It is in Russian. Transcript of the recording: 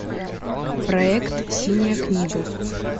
проект синяя книга